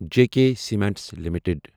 JK cements limited